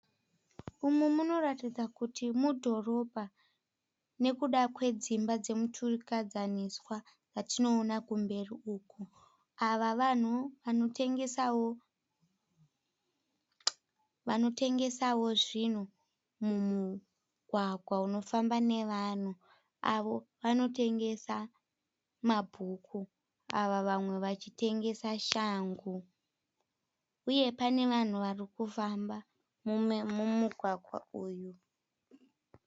Umu munoratidza kuti mudhorobha nekuda kwedzimba dzemuturikidzaniswa dzatinoona kumberi uko. Ava vanhu vanotengesawo zvinhu mumugwagwa unofamba nevanhu avo vanotengesa mabook ava vamwe vachitengesa shangu uye pane vanhu varikufamba mumugwagwa umu.